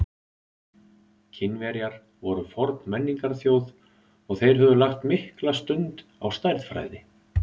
Kínverjar voru forn menningarþjóð og þeir höfðu lagt mikla stund á stærðfræði.